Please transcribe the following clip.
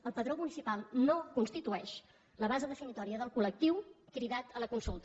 el padró municipal no constitueix la base definidora del col·lectiu cridat a la consulta